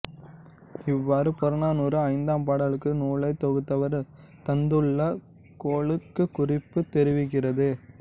இவ்வாறு புறநானூறு ஐந்தாம் பாடலுக்கு நூலைத் தொகுத்தவர் தந்துள்ள கொளுக் குறிப்பு தெரிவிக்கிறது